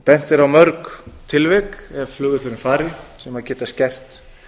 bent er á mörg tilvik ef flugvöllurinn fari sem geta skert